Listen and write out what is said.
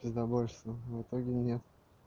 пиздабольство в итоге нет